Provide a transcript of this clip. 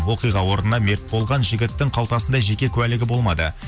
оқиға орнына мерт болған жігіттің қалтасында жеке куәлігі болмады